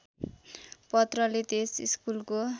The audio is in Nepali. पत्रले त्यस स्कुलको